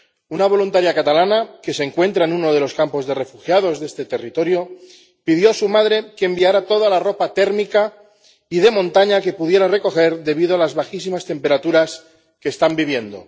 Una voluntaria catalana, que se encuentra en uno de los campos de refugiados de este territorio, le pidió a su madre que le enviara toda la ropa térmica y de montaña que pudiera recoger, debido a las bajísimas temperaturas que están viviendo.